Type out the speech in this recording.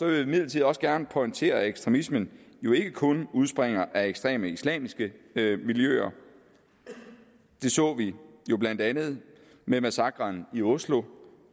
jeg imidlertid også gerne pointere at ekstremismen jo ikke kun udspringer af ekstreme islamiske miljøer det så vi jo blandt andet med massakren i oslo